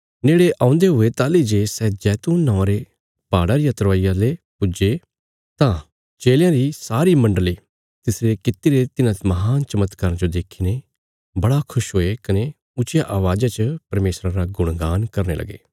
नेड़े औन्दे हुये ताहली जे सै जैतून नौआं रे पहाड़ा री तरवाईया ले पुज्जे तां चेलयां री सारी मण्डली तिसरे कित्तिरे तिन्हां महान चमत्काराँ जो देखीने बड़े खुश हुये कने ऊच्चिया अवाज़ा च परमेशरा रा गुणगान करने लगे